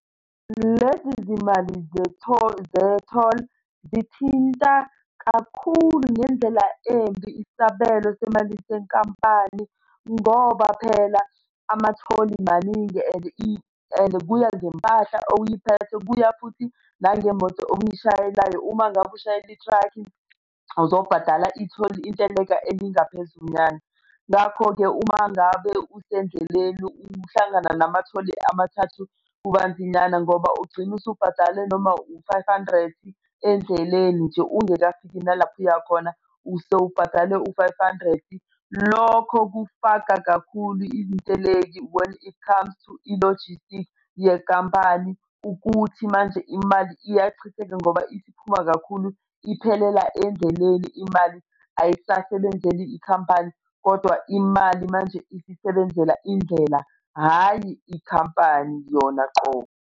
Lezi zimali ze-toll ze-toll, zithinta kakhulu ngendlela embi isabelo semalini senkampani ngoba phela amatholi maningi and and kuya ngempahla oyiphethe kuya futhi nangemoto oyishayelayo. Uma ngabe ushayela i-track-i, uzobhadala itholi inteleka elingaphezunyanga. Ngakho-ke uma ngabe usendleleni uhlangana namatholi amathathu kubanzinyana ngoba ugcina usubhadale noma u-five hundred endleleni nje ungakafiki nalapho uya khona usewubhadale u-five hundred. Lokho kufaka kakhulu iziteleki when it comes to i-logistic yenkampani ukuthi manje imali iyachitheka ngoba isiphuma kakhulu iphelela endleleni imali ayisasebenzeli ikhampani, kodwa imali manje isisebenzela indlela, hhayi ikhampani yona uqobo.